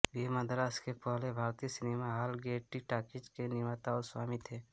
वो मद्रास के पहले भारतीय सिनेमा हाल गेयटी टॉकीज के निर्माता और स्वामी थे